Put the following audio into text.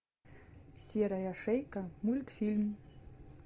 серая шейка мультфильм